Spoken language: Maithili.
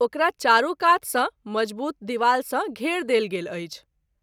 ओकरा चारू कात सँ मज़बूत दिवाल सँ घेर देल गेल अछि।